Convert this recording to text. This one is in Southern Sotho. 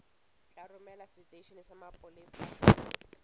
tla romelwa seteisheneng sa mapolesa